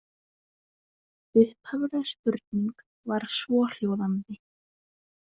Upphafleg spurning var svohljóðandi